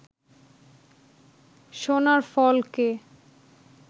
সোনার ফলকে